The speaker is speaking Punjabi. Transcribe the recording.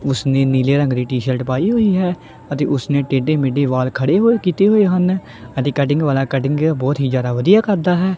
ਓਸਨੇ ਨੀਲੇ ਰੰਗ ਦੀ ਟੀ_ਸ਼ਰਟ ਪਾਈ ਹੋਈ ਹੈ ਅਤੇ ਓਸਨੇ ਟੇਢੇ ਮੇਢੇ ਵਾਲ ਖੜੇ ਹੋਏ ਕੀਤੇ ਹੋਏ ਹਨ ਅਤੇ ਕੱਟਿੰਗ ਵਾਲਾ ਕਟਿੰਗ ਬਹੁਤ ਹੀ ਜਿਆਦਾ ਵਧੀਆ ਕਰਦਾ ਹੈ।